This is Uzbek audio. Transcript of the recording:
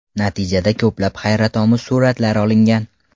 Natijada ko‘plab hayratomuz suratlar olingan.